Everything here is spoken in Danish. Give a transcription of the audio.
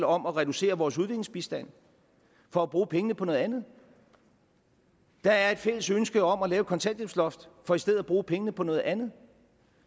om at reducere vores udviklingsbistand for at bruge pengene på noget andet der er et fælles ønske om at lave et kontanthjælpsloft for i stedet at bruge pengene på noget andet